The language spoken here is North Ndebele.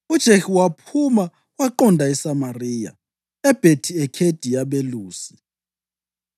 UJehu waphuma njalo waqonda eSamariya. EBhethi-Ekhedi yaBelusi,